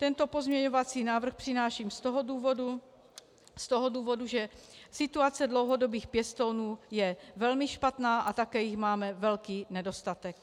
Tento pozměňovací návrh přináším z toho důvodu, že situace dlouhodobých pěstounů je velmi špatná a také jich máme velký nedostatek.